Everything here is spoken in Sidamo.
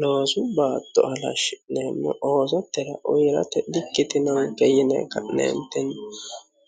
Loosu baatto halashi'neemmo oosote uyiirate dikkitinonke yine